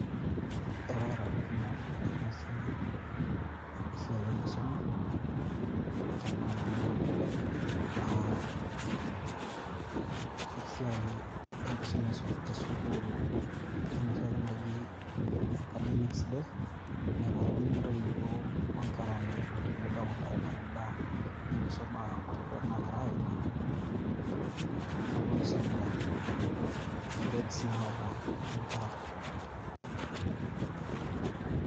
Ekaata adamu enasiai, esiai enkisuma, tanakata ah esiai enkisuma tesukuul enoshiake naji academics day. Naipotuni ntoiwuo onkera meetu tenebo aponu aimaki mbaa enkisuma golikinot nagira aimaa, neponu si aing'uraa grades naata inkera.